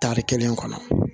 Tari kelen kɔnɔ